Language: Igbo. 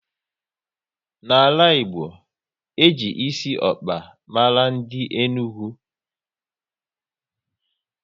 N'ala Igbo, e ji esi ọkpa mara ndị Enugu